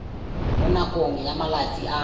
mo nakong ya malatsi a